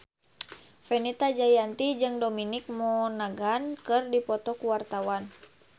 Fenita Jayanti jeung Dominic Monaghan keur dipoto ku wartawan